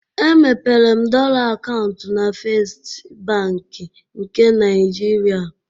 Emepere m dọla akaụntụ na Festị Bankị nke Naịjirịa.